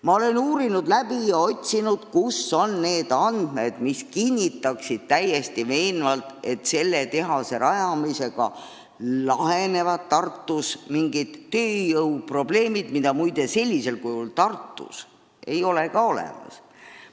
Ma olen uurinud ja otsinud, kus on need andmed, mis kinnitaksid täiesti veenvalt, et selle tehase rajamisega lahenevad Tartus mingid tööjõuprobleemid, mida muide sellisel kujul Tartus ei ole olemas.